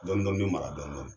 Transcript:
Dɔnni dɔnni bɛ mara dɔnni dɔnni